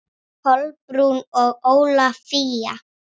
Kolbrún og Ólafía.